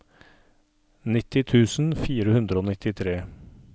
nitti tusen fire hundre og nittitre